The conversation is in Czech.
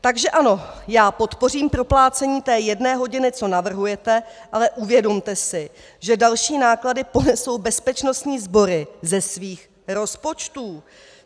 Takže ano, já podpořím proplácení té jedné hodiny, co navrhujete, ale uvědomte si, že další náklady ponesou bezpečnostní sbory ze svých rozpočtů.